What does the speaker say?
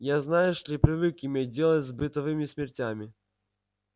я знаешь ли привык иметь дело с бытовыми смертями